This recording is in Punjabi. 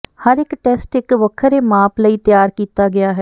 ਹਰ ਇੱਕ ਟੈਸਟ ਇੱਕ ਵੱਖਰੇ ਮਾਪ ਲਈ ਤਿਆਰ ਕੀਤਾ ਗਿਆ ਹੈ